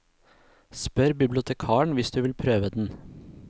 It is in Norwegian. Spør bibliotekaren hvis du vil prøve den.